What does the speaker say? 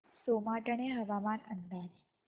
सोमाटणे हवामान अंदाज